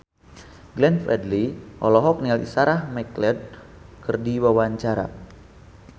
Glenn Fredly olohok ningali Sarah McLeod keur diwawancara